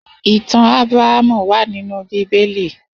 Itàn Abràhámú wà ninú Bibéli